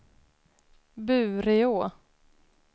Bureå